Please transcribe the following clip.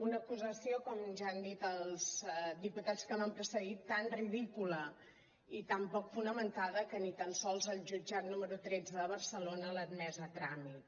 una acusació com ja han dit els diputats que m’han precedit tan ridícula i tan poc fonamentada que ni tan sols el jutjat número tretze de barcelona l’ha admesa a tràmit